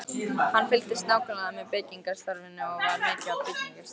Hann fylgdist nákvæmlega með byggingarstarfinu og var mikið á byggingarstaðnum.